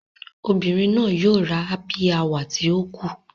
Obirin naa yoo ra hsppy hour ti o ku.